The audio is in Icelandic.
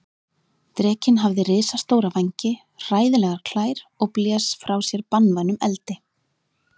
Drekinn hafði risastóra vængi, hræðilegar klær og blés frá sér banvænum eldi.